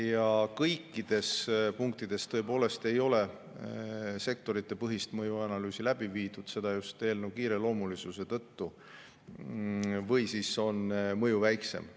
Ja kõikides punktides tõepoolest ei ole sektoritepõhist mõjuanalüüsi tehtud, seda just eelnõu kiireloomulisuse tõttu, või siis on mõju väiksem.